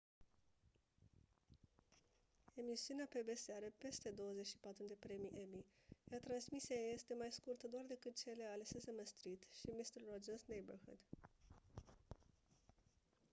emisiunea pbs are peste 24 de premii emmy iar transmisia ei este mai scurtă doar decât cele ale sesame street și mister rogers' neighborhood